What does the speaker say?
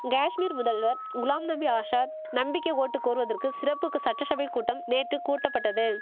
கேஷ்மீர் முதல்வர் குலாம் நபி ஆசாத் நம்பிக்கை ஓட்டு கோர்வதற்கு சிறப்புக்கு சட்டசபைக் கூட்டம் நேற்று கூட்டபட்டது